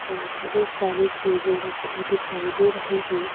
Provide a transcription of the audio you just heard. और बहुत सारी चीजें रखी दिखाई दे रही हैं।